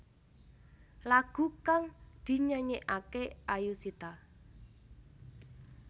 Lagu kang dinyanyekake Ayushita